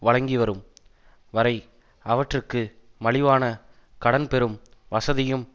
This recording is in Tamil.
வழங்கிவரும் வரை அவற்றுக்கு மலிவான கடன் பெறும் வசதியும்